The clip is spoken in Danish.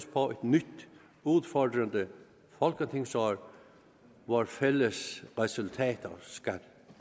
på et nyt udfordrende folketingsår hvor fælles resultater skal